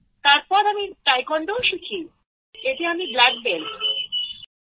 তারপর আমি তাইকোন্ডাও শিখি এতে আমি ব্ল্যাক বেল্ট পেয়েছি